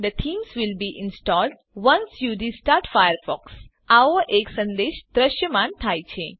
the theme will be installed once you restart Firefox આવો એક સંદેશ દ્રશ્યમાન થાય છે